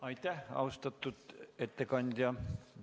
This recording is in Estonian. Aitäh, austatud ettekandja!